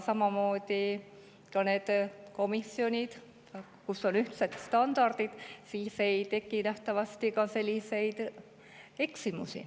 Ja nendes komisjonides, kus on ühtsed standardid, nähtavasti ka ei tekiks selliseid eksimusi.